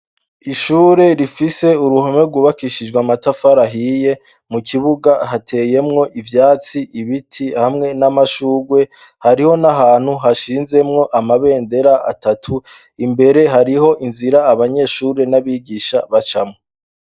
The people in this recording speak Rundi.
Ishure rifise uruhome rwubakishijwa matafarahiye mu kibuga hateyemwo ivyatsi ibiti hamwe n'amashurwe hariho n'ahantu hashinzemwo amabendera atatu imbere hariho inzira abanyeshure n'abigisha baca mwo.